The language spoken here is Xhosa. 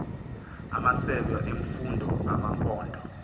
amasebe emfundo amaphondo